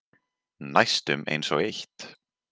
Næstum einsog eitt.